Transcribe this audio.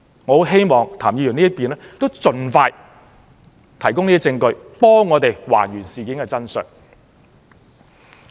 我很希望譚議員可以盡快提供證據，讓我們還原事件的真相。